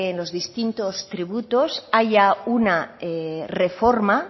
los distintos tributos haya una reforma